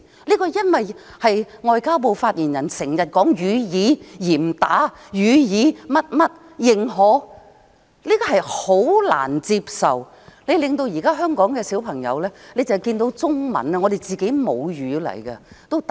這是因為外交部發言人經常說"予以嚴打"、"予以 XX 認可"，這是十分難以接受的，令現在香港的小朋友只要看到中文也"打冷震"。